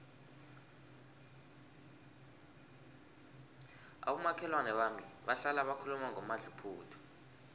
abomakhelwana bami bahlala bakhuluma ngomadluphuthu